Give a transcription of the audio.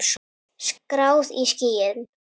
Skráð í skýin.